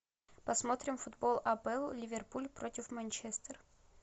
посмотрим футбол апл ливерпуль против манчестер